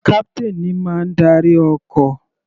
Captain ní má ń darí ọkọ̀.